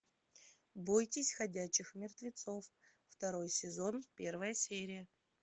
бойтесь ходячих мертвецов второй сезон первая серия